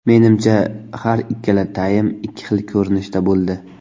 Menimcha, har ikkala taym ikki xil ko‘rinishda bo‘ldi.